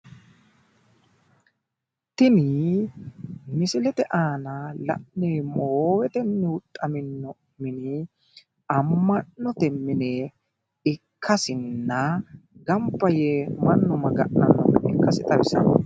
Tini misilete aana la'neemmo woyite tenne huxxaminno mini amma'note mine ikkasinna gamba yee mannu Maga'nanno gede ikkasi xawissanno.